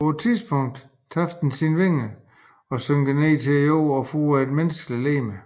På et tidspunkt taber den sine vinger og synker ned til jorden og får et menneskeligt legeme